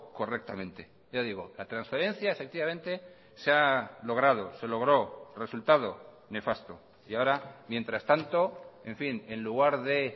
correctamente ya digo la transferencia efectivamente se ha logrado se logró resultado nefasto y ahora mientras tanto en fin en lugar de